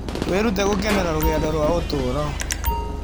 Wĩrute gũkenera rũgendo rwa ũtũũro.